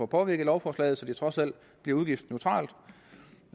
påvirke i lovforslaget så det trods alt bliver udgiftsneutralt